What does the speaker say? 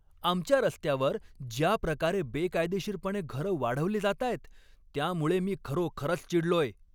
आमच्या रस्त्यावर ज्या प्रकारे बेकायदेशीरपणे घरं वाढवली जातायत त्यामुळे मी खरोखरच चिडलोय.